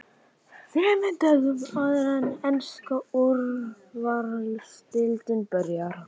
ÞREMUR DÖGUM áður en enska Úrvalsdeildin byrjar?